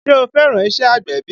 Ṣe o fẹ́ràn iṣẹ́ agbẹ̀bí?